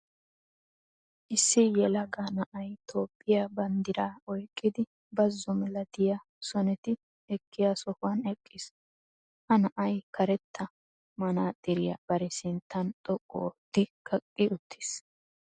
Issi yelaga na'ay toophphiya banddiraa oyqqidi bazzo malatiya soneti ekkiya sohuwan eqqiis. Ha na'ay karetta manaaxxiriya bari sinttan xoqqu ootti kaqqi uttiis.